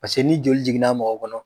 ni joli jiginna mɔgɔ kɔnɔ